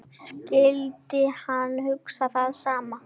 Skyldi hann hugsa það sama?